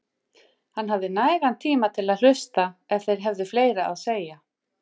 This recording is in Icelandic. Hann hafði nægan tíma til að hlusta ef þeir hefðu fleira að segja.